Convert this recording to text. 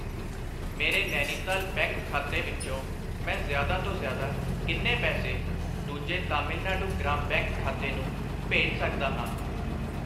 ਮੇਰੇ ਨੈਨੀਤਾਲ ਬੈਂਕ ਖਾਤੇ ਵਿੱਚੋ ਮੈਂ ਜ਼ਿਆਦਾ ਤੋਂ ਜ਼ਿਆਦਾ ਕਿੰਨੇ ਪੈਸੇ ਦੂਜੇ ਤਾਮਿਲਨਾਡੂ ਗ੍ਰਾਮ ਬੈਂਕ ਖਾਤੇ ਨੂੰ ਭੇਜ ਸਕਦਾ ਹਾਂ?